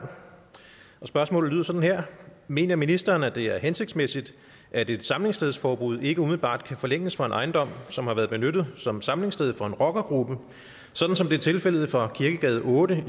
spørgsmålet lyder sådan her mener ministeren at det er hensigtsmæssigt at et samlingsstedsforbud ikke umiddelbart kan forlænges for en ejendom som har været benyttet som samlingssted for en rockergruppe sådan som det er tilfældet for kirkegade otte